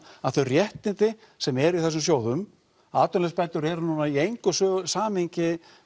að þau réttindi sem eru í þessum sjóðum atvinnuleysisbætur eru núna í engu samhengi